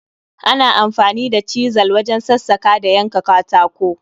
Ana amfani da chizal wajen sassaka da yanka katako